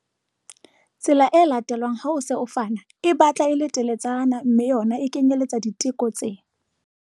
Tsela e latelwang ha o se o fana e batla e le teletsana mme yona e kenyeletsa diteko tse